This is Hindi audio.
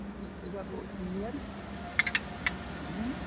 इस जगह को इ.एम. जीम --